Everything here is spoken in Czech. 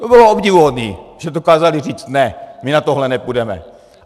To bylo obdivuhodné, že dokázaly říci ne, my na tohle nepůjdeme.